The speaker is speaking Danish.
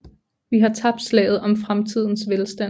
Vi har tabt slaget om fremtidens velstand